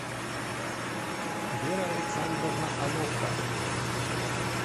вера александровна онопка